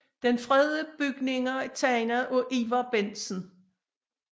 De fredede bygninger er tegnet af Ivar Bentsen